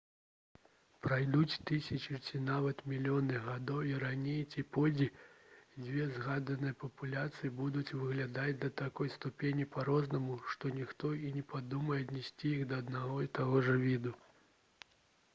пройдуць тысячы ці нават мільёны гадоў і раней ці пазней дзве згаданыя папуляцыі будуць выглядаць да такой ступені па-рознаму што ніхто і не падумае аднесці іх да аднаго і таго ж віду